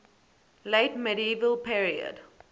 late medieval period